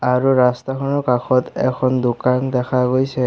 আৰু ৰাস্তাখনৰ কাষত এখন দোকান দেখা গৈছে।